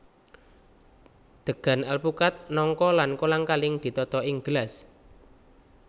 Degan alpukad nangka lan kolang kaling ditata ing gelas